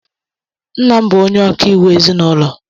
Nna m bụ onye ọkaiwu ezinaụlọ.